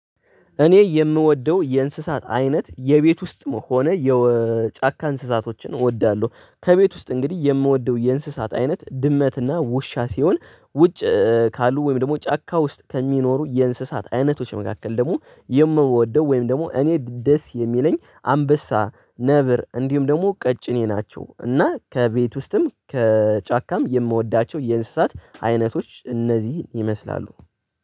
እኔ የምወደው የእንስሳት አይነት፤ የቤት ውስጥም ሆነ የጫካ እንስሳቶችን እወዳለሁ። ከቤት ውስጥ እንግዲህ የምወደው የእንስሳት አይነት፤ ድመት እና ውሻ ሲሆን። ውጭ ካሉ ወይም ደግሞ ጫካ ውስጥ ከሚኖሩ፤ የእንስሳት አይነቶች መካከል ደግሞ የምወደው ወይም ደግሞ እኔ ደስ የሚለኝ አንበሳ ነብር፤ እንዲሁም ደግሞ፤ ቀጭኔ ናቸው። እና ከቤት ውስጥም ከጫካም የምወዳቸው የእንስሳት አይነቶች እነዚህ ይመስላሉ።